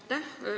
Aitäh!